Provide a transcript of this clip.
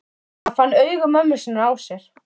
Hann fann augu mömmu sinnar á sér.